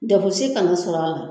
si kan'a sɔrɔ a la.